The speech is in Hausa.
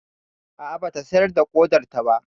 A'a, ba ta sayar da ƙodarta ba.